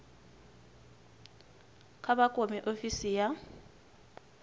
kha vha kwame ofisi ya